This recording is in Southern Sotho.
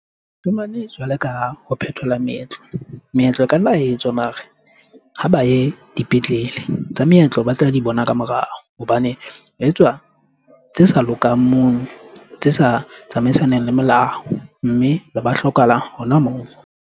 Jwalo ka ha, ho phethola meetlo. Meetlo e ka nna etswa mare ha ba ye dipetlele. Tsa meetlo batla di bona ka morao hobane etswa tse sa lokang mono, tse sa tsamaisaneng le melao. Mme ba ba hlokahala hona moo.